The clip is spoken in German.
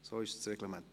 So ist das Reglement.